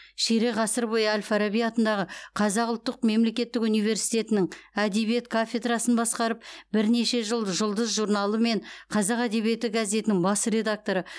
ширек ғасыр бойы әл фараби атындағы қазақ ұлттық мемлекеттік университетінің әдебиет кафедрасын басқарып бірнеше жыл жұлдыз журналы мен қазақ әдебиеті газетінің бас редакторы